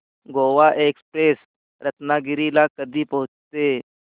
Goa express Ratnagiri ला कधी पोहचते